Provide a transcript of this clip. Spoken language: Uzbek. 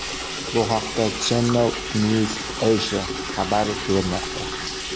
Bu haqda Channel NewsAsia xabar bermoqda .